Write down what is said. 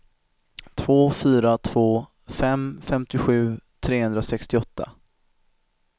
två fyra två fem femtiosju trehundrasextioåtta